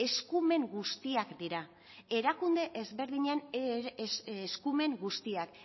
eskumen guztiak dira erakunde ezberdinen eskumen guztiak